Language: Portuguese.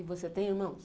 E você tem irmãos?